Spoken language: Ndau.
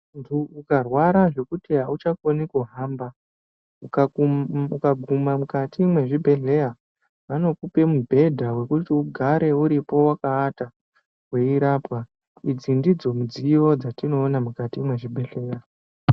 Muntu ukarwara zvekuti auchakoni kuhamba, ukakuma ukaguma mukati mwezvibhendleya vanokupa mubhenda wokuti ugare uripo wakaata weirapwa. Idzi ndidzo midziyo dzatinoona mukati mwezvibhendleya.